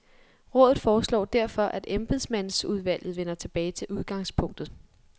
Rådet foreslår derfor, at embedsmandsudvalget vender tilbage til udgangspunktet.